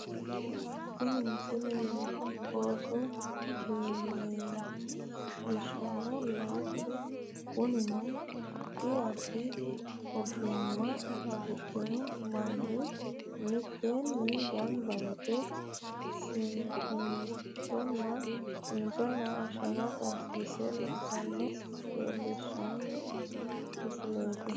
tini misile looso leelishshano loosu kunino addi addi ogoma afidhino manni mitteenni ganba yite simmintonna shaafa karsiisse loossannoha leellishshanno misileeti